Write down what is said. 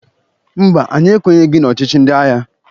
Mba, anyị ekwenyeghị n'ọchịchị ndị agha.